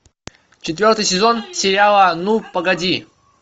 четвертый сезон сериала ну погоди